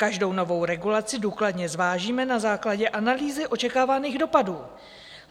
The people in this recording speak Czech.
Každou novou regulaci důkladně zvážíme na základě analýzy očekávaných dopadů.